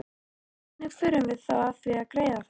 Hvernig förum við að því að greiða þetta?